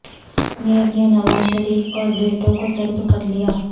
NAB نے نواز شریف اور بیٹوں کو طلب کر لیا